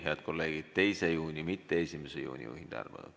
Head kolleegid, 2. juuni, mitte 1. juuni, juhin tähelepanu.